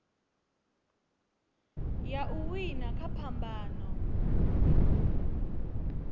ya u wina kha phambano